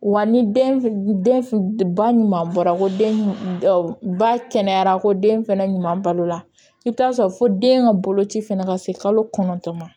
Wa ni den f ba ɲuman bɔra ko den ba kɛnɛyara ko den fɛnɛ ɲuman balo la i bi taa sɔrɔ fo den ka boloci fɛnɛ ka se kalo kɔnɔntɔn ma